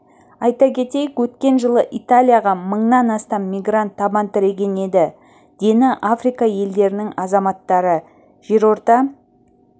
айта кетейік өткен жылы италияға мыңнан астам мигрант табан тіреген еді дені африка елдерінің азаматтары жерорта